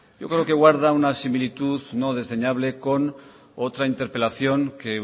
yo creo que guarda una similitud no desdeñable con otra interpelación que